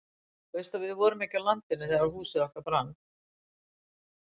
Þú veist að við vorum ekki á landinu þegar húsið okkar brann?